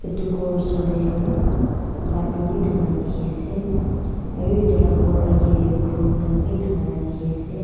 tu ghor osor tey bathroom bi thaka dikhi ase aro itu la ghor agey tey phool khan bi thaka la dikhi ase.